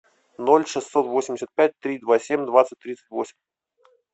ноль шестьсот восемьдесят пять три два семь двадцать тридцать восемь